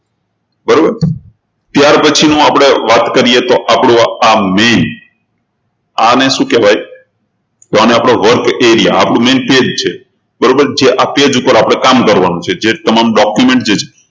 બરોબર ત્યારપછીની આપણે વાત કરીએ તો આ main આને શું કહેવાય આને આપણો workarea આ આપણું main page બરોબર જે page ઉપર આપણે કામ કરવાનું છે જે તમામ document જે છે